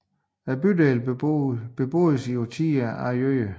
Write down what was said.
Bydelen beboedes i årtier overvejende af jøder